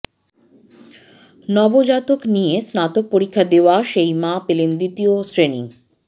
নবজাতক নিয়ে স্নাতক পরীক্ষা দেওয়া সেই মা পেলেন দ্বিতীয় শ্রেণি